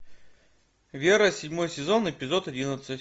вера седьмой сезон эпизод одиннадцать